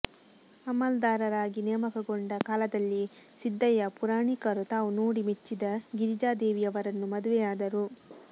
ಅಮಲ್ದಾರರಾಗಿ ನೇಮಕಗೊಂಡ ಕಾಲದಲ್ಲಿಯೇ ಸಿದ್ಧಯ್ಯ ಪುರಾಣಿಕರು ತಾವು ನೋಡಿ ಮೆಚ್ಚಿದ ಗಿರಿಜಾದೇವಿಯವರನ್ನು ಮದುವೆಯಾದರು